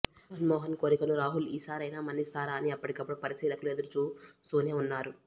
మన్మోహన్ కోరికను రాహుల్ ఈ సారైనా మన్నిస్తారా అని ఎప్పటికప్పుడు పరిశీలకులు ఎదురుచూ స్తూనే వున్నారు